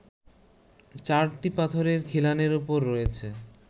চারটি পাথরের খিলানের ওপর রয়েছে